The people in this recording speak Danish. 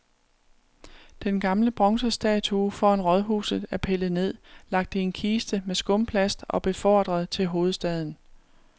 Den gamle bronzestatue foran rådhuset er pillet ned, lagt i en kiste med skumplast og befordret til hovedstaden.